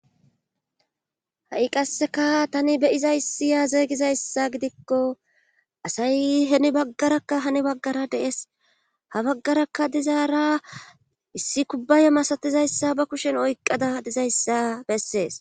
ha'i qasseka tani be'izayssiyaa zeeygizayssa gidikko asay heni baggarakka hani baggara de'es ha baggarakka dizaara issi kubbaye masatizayssa ba kushen oyqqada dizayssa bessees